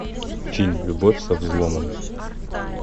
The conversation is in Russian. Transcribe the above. фильм любовь со взломом